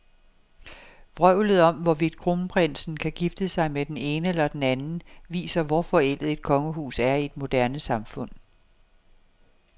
Vrøvlet om, hvorvidt kronprinsen kan gifte sig med den ene eller den anden, viser, hvor forældet et kongehus er i et moderne samfund.